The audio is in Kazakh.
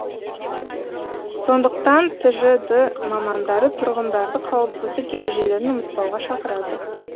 сондықтан тжд мамандары тұрғындарды қауіпсіздік ережелерін ұмытпауға шақырады